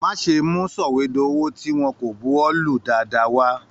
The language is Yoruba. Má ṣe mú sọwedowo tí wọn kò bùwólù dáadáa.